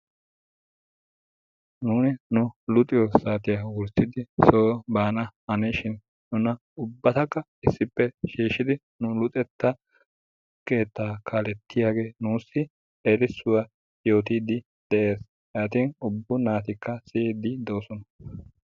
nuuni nu luuxxiyoo wurssidi soo bana hanishiin nuna ubbataka issippe shiishidi nu luxetta keettaa kalettiyaagee nuusi eriisuwaa yootidi de'ees. yaatin ubba naatikka siiyidi de'oosona.